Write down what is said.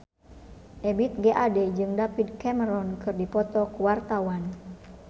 Ebith G. Ade jeung David Cameron keur dipoto ku wartawan